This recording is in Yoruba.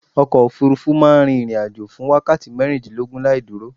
Ọkọ̀ òfurufú rufú ma n rin ìrìn ajo fún wákàti mérìndínlógún laìdúró